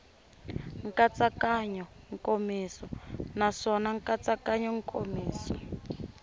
nkatsakanyo nkomiso naswona nkatsakanyo nkomiso